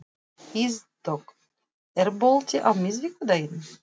Ísdögg, er bolti á miðvikudaginn?